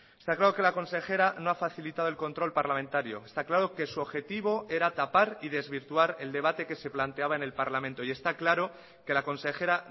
está claro que la consejera no ha facilitado el control parlamentario está claro que su objetivo era tapar y desvirtuar el debate que se planteaba en el parlamento y está claro que la consejera